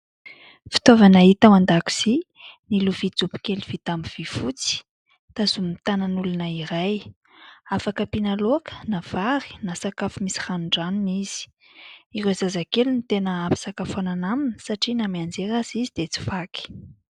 Fitaovana hita ao an-dakozia ny lovia jobo kely vita amin'ny vy fotsy tazomina tanan'olona iray. Afaka ampiana laoka na vary na sakafo misy ranondranony izy. Ireo zazakely ny tena hampisakafoanana aminy satria na mianjera aza izy dia tsy vaky.